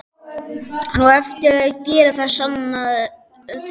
Hann á eftir að gera það, sannaðu til.